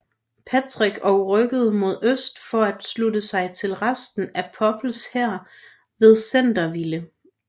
Patrick og rykkede mod øst for at slutte sig til resten af Popes hær ved Centreville